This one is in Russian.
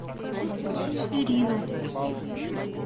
ирину